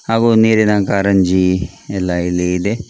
ಹಾಗು ನೀರಿನ ಕಾರಂಜಿ ಎಲ್ಲ ಇಲ್ಲಿ ಇದೆ .